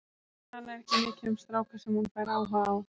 Hún talar ekki mikið um stráka sem hún fær áhuga á.